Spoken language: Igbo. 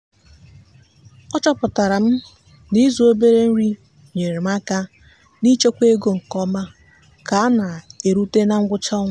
a chọpụtara m na ịzụ obere nri nyeere m aka n'ichekwa ego nke ọma ka a na-erute na ngwụcha ọnwa.